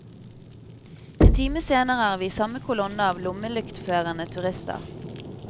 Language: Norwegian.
En time senere er vi i samme kolonne av lommelyktførende turister.